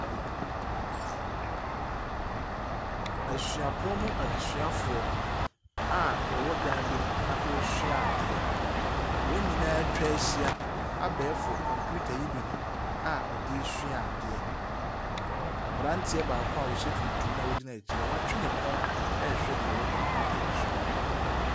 Ei kyew ɛsuapɔn mu adesuafoɔ a ɔwɔ dan bi mu a ɔresua adeɛ. Wɔn nyinaa ɛtwahyia abɛɛfo computer yi bi ho a ɔdesua adeɛ. Abranteɛ baako a ɔhyɛ tuntum na ɔgyina akyire, watwe ne kɔn ɛrehwɛ nea ɛwɔ computer yi so.